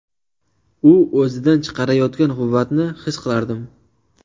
U o‘zidan chiqarayotgan quvvatni his qilardim.